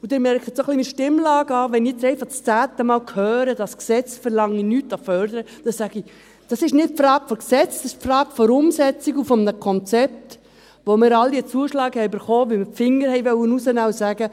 Sie merken ein wenig an meiner Stimmlage, wenn ich jetzt einfach zum zehnten Mal höre, das Gesetz verlange nichts an Fördern, dann sage ich: Das ist nicht die Frage des Gesetzes, das ist die Frage der Umsetzung und eines Konzeptes, wo wir alle einen Zuschlag erhalten haben, weil wir den «Finger rausnehmen» wollten und sagten: